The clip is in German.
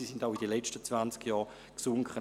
Sie sanken auch während der letzten zwanzig Jahre.